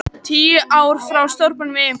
Tíu ár frá stórbrunanum í Eyjum